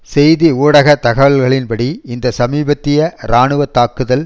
செய்தி ஊடக தகவல்களின் படி இந்த சமீபத்திய இராணுவ தாக்குதல்